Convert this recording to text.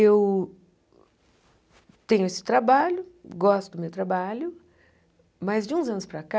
Eu tenho esse trabalho, gosto do meu trabalho, mas de uns anos para cá...